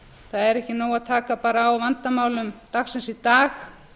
það er ekki nóg að taka bara á vandamálum dagsins í dag